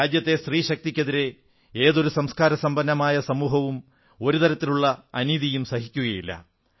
രാജ്യത്തെ സ്ത്രീശക്തിക്കെതിരെ ഒരു തരത്തിലുമുള്ള അനീതിയും സംസ്കാരസമ്പന്നമായ ഏതൊരു സമൂഹവും സഹിക്കില്ല